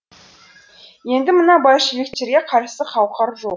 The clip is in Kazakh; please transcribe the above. енді мына большевиктерге қарсы қауқар жоқ